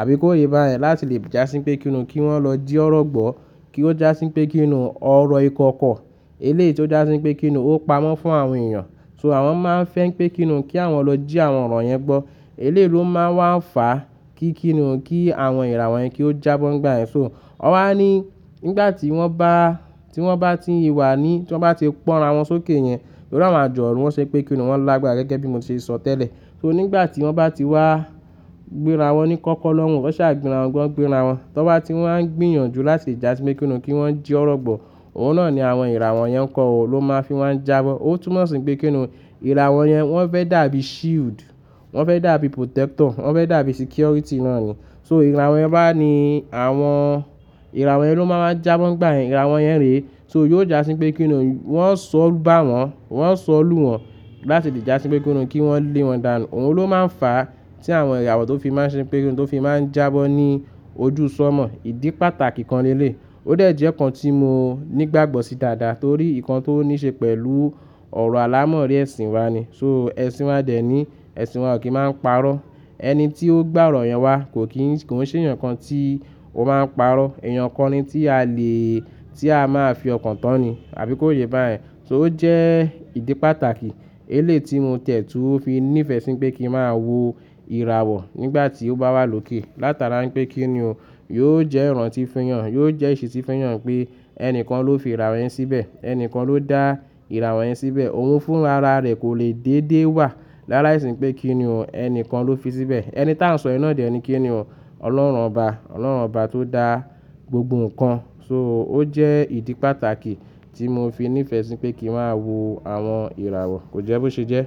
àbí kó yé bá yẹn láti lè jásí pé kíniún kí wọ́n lọ jí ọ̀rọ̀ gbọ́, kí ó jásí pé kíniún ọ̀rọ̀ ìkọ̀kọ̀ eléè tí ó jásí pé kíniún ó pamọ́ fún àwọn èèyàn. So àwọn máa ń fẹ́ pé kíniún kí àwọn lọ jí àwọn ọ̀rọ̀ yẹn gbọ́. Eléè ló máa ń wà ń fà kí kíniún kí àwọn ìràwọ̀ yẹn kí ó jábọ́ ń gbà yẹn. So ọ wá ní nígbà tí wọ́n bá tí wọ́n bá ti wà ní tí wọ́n bá ti pọ́nra wọn sókè yẹn, torí àwọn àjọ̀nú wọ́n ṣe pé kíniún wọ́n lágbára gẹ́gẹ́ bí mo ṣe sọ tẹ́lẹ̀. So nígbà tí wọ́n bá ti wá gbéra wọn ní kọ́kọ́ lọ́wọ́, wọ́n ṣàgbéra wọn gbọ́n gbéra wọn. Tí wọ́n bá ti wọ́n ń gbìyànjú láti jásí pé kíniún kí wọ́n jí ọ̀rọ̀ gbọ́, òun náà ni àwọn ìràwọ̀ yẹn ǹkan ò ló máa fi wọ́n jábọ́. Ó túmọ̀sí pé kíniún ìràwọ̀ yẹn wọ́n fẹ́ dàbí shield, wọ́n fẹ́ dàbí protector, wọ́n fẹ́ dàbí security náà ni. So ìràwọ̀ yẹn bá ní àwọn ìràwọ̀ yẹn ló máa ń jábọ́ ń gbà yẹn, ìràwọ̀ yẹn rè. So yóò jásí pé kíniún wọ́n ó sọ ọ́ bá wọn, wọ́n ó sọ ọ́ lù wọn láti lè jásí pé kíniún kí wọ́n lé wọn dànù. Òun ló máa ń fà tí àwọn ìràwọ̀ tó fi máa ń ṣe pé kíniún tó fi máa ń jábọ́ ní ojú sọ́mọ̀. Ìdí pàtàkì kan léléi. Ó dẹ̀ ẹ́ jẹ́ ǹkan tí mo nígbàgbọ́ sí dáadáa torí ìkan tó ní ṣe pẹ̀lú ọ̀rọ̀ alámọ̀rí ẹ̀sìn wa ni. So ẹ̀sìn wa dẹ̀ ẹ́ ní ẹ̀sìn wa kì í máa ń parọ́. Ẹni tí ó gbọ́ ọ̀rọ̀ yẹn wá kò kí kò ń ṣe ǹkan tí ó máa ń parọ́. Èèyàn kan ni tí a lè tí a máa fi ọkàn tán ni àbí kó yé bá yẹn. So ó jẹ́ ìdí pàtàkì eléè tí mo tẹ̀tùú fi ní ìfẹ́ sí pé kí n máa wo ìràwọ̀ nígbà tí ó bá wà lókè látara pé kíniún yóò jẹ́ ìràn tí fiyàn, yóò jẹ́ ìṣí tí fiyàn pé ẹnìkan ló fi ìràwọ̀ yẹn síbẹ̀, ẹnìkan ló dá ìràwọ̀ yẹn síbẹ̀. Òun fún ara rẹ̀ kò lè dédé wà lála ìsi pé kíniún ẹnìkan ló fi síbẹ̀. Ẹni tí à ń sọ ina dá ní kíniún Ọlọ́run ọba, Ọlọ́run ọba tó dá gbogbo ǹkan. So ó jẹ́ ìdí pàtàkì tí mo fi ní ìfẹ́ sí pé kí n máa wo àwọn ìràwọ̀. Kò jẹ́ bó ṣe jẹ́.